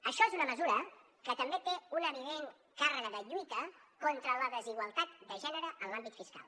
això és una mesura que també té una evident càrrega de lluita contra la desigualtat de gènere en l’àmbit fiscal